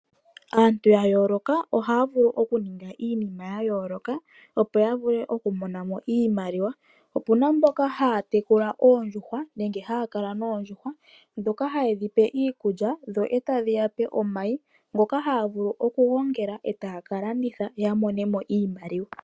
Aantu ya yooloka oha ya vulu oku ningi iinima yayooloka opo ya vule oku mona mo iimaliwa Opuna mboka haya tekula oondjuhwa nenge haya kala noondjuhwa dhoka haye dhipe iikulya dho e tadhi yape omayi ngoka haga vulu oku gongela etaaka landitha yo ya mone mo iimaliwa.